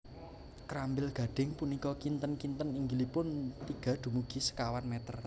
Krambil gadhing punika kinten kinten inggilipun tiga dumugi sekawan meter